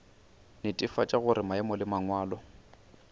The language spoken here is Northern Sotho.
netefatša gore maemo le mangwalo